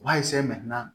U b'a